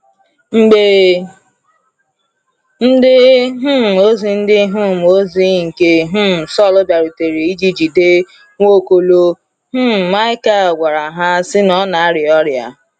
Mgbe ndị um ozi ndị um ozi nke um Saul bịarutere iji jide Nwaokolo, um Michal gwara ha sị na ọ na arịa ọrịa.